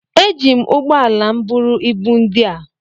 eji m ụgbọ ala m buru ibu ndị a